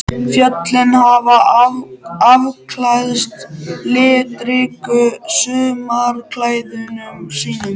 Fjöllin hafa afklæðst litríkum sumarklæðum sínum.